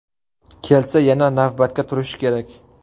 Kelsa, yana navbatda turishi kerak.